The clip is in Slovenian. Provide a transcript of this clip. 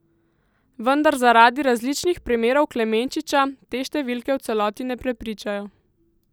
Vendar zaradi različnih primerov Klemenčiča te številke v celoti ne prepričajo.